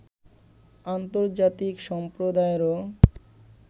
আন্তর্জাতিক সম্প্রদায়েরও